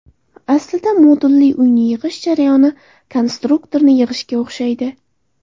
Aslida, modulli uyni yig‘ish jarayoni konstruktorni yig‘ishga o‘xshaydi.